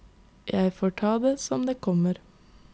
Jeg får ta det som det kommer.